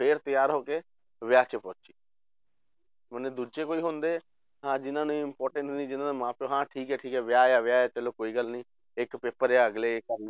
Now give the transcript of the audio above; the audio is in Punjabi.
ਫਿਰ ਤਿਆਰ ਹੋ ਕੇ ਵਿਆਹ 'ਚ ਪਹੁੰਚੀ ਮਨੇ ਦੂਜੇ ਕੋਈ ਹੁੰਦੇ ਹਾਂ ਜਿੰਨਾਂ ਲਈ important ਨੀ ਜਿੰਨਾਂ ਦਾ ਮਾਂ ਪਿਓ ਹਾਂ ਠੀਕ ਹੈ ਠੀਕ ਹੈ ਵਿਆਹ ਆ ਵਿਆਹ ਹੈ ਚਲੋ ਕੋਈ ਗੱਲ ਨੀ ਇੱਕ paper ਆ ਅਗਲੇ ਕਰ ਲਊ